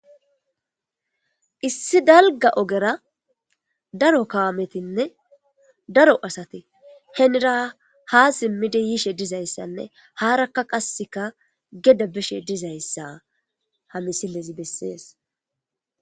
Issi dalga ogera daro kawametinne daro asate henira ha simmidi yishe dizayssanne haarakka qasseka geda bishe dizayssa ha misilezi bessees.